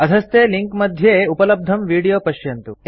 अधस्थे लिंक मध्ये उपलब्धं विडियो पश्यन्तु